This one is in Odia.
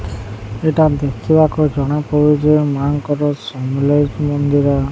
ଏଇଟା ଦେଖିବାକୁ ଜଣାପଡ଼ୁଚି ମାଆଙ୍କର ସମଲେଇ ମନ୍ଦିର।